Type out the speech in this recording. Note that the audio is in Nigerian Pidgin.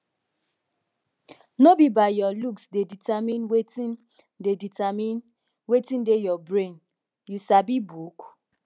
no be your looks dey determine wetin dey determine wetin dey your brain you sabi book